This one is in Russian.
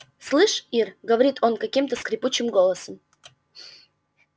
слышь ир говорит он каким-то скрипучим голосом